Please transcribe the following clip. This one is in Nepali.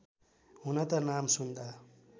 हुन त नाम सुन्दा